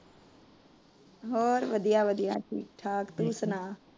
ਹੋਰ ਵਧੀਆ ਵਧੀਆ ਠੀਕ ਠਾਕ, ਤੁਸੀਂ ਸੁਣਾਓ।